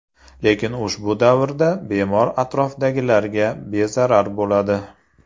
Lekin ushbu davrda bemor atrofdagilarga bezarar bo‘ladi.